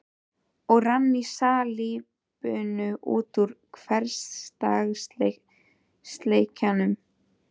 Og rann í salíbunu út úr hversdagsleikanum.